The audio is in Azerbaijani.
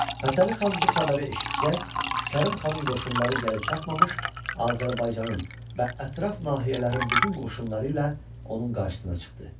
Fətəli xan bu xəbəri eşidəcək Kərim xanın qoşunları gəlib çatmamış Azərbaycanın və ətraf nahiyələrin bütün qoşunları ilə onun qarşısına çıxdı.